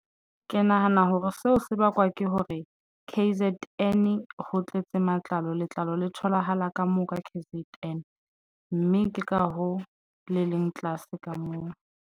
Ke nahana hore seo se bakwa ke hore K_Z_N ho tletse matlalo. Letlalo le tholahala ka moo ka K_Z_N mme ke ka hoo le leng tlase ka moo.